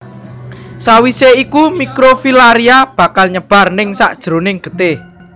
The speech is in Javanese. Sawisé iku mikrofilaria bakal nyebar ningsakjeroning getih